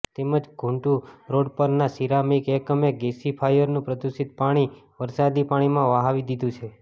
તેમજ ઘૂટું રોડ પરના સિરામિક એકમે ગેસી ફાયરનું પ્રદુષિત પાણી વરસાદી પાણીમાં વહાવી દીધું છે